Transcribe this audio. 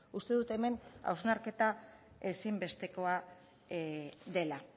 uste dut hemen hausnarketa ezinbestekoa dela